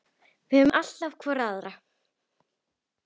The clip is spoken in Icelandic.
Við höfum alltaf hvor aðra.